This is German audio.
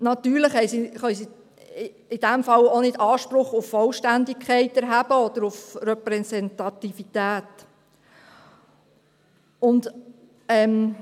Natürlich können sie in diesem Fall auch keinen Anspruch auf Vollständigkeit oder Repräsentativität erheben.